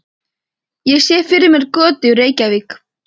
Ég sé fyrir mér götu í Reykjavík.